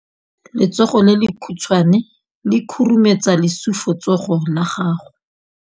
Letsogo le lekhutshwane le khurumetsa lesufutsogo la gago.